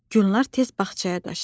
Gülnar tez bağçaya daşdı.